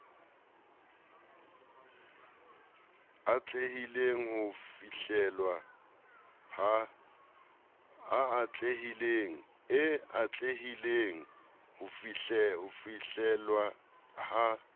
e atlehileng ho fihlellwa ha